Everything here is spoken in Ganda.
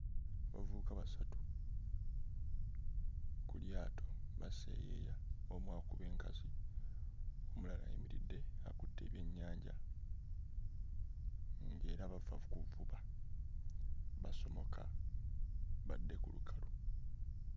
Abavubuka basatu ku lyato baseeyeeya: omu akuba enkasi, omulala ayimiridde akutte ebyennyanja ng'era bava kuvuba. Basomoka badde ku lukalu.